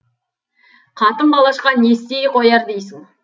қатын қалашқа не істей қояр дейсің